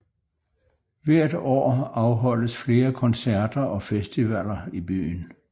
Hvert år afholdes flere koncerter og festivaller i byen